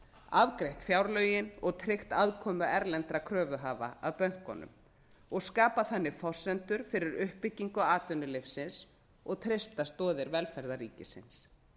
afgreitt fjárlögin og tryggt aðkomu erlendra kröfuhafa að bönkunum og skapað þannig forsendur fyrir uppbyggingu atvinnulífsins og treysta stoðir velferðarríkisins